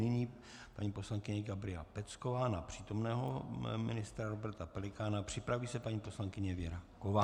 Nyní paní poslankyně Gabriela Pecková na přítomného ministra Roberta Pelikána, připraví se paní poslankyně Věra Kovářová.